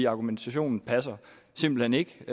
argumentationen passer simpelt hen ikke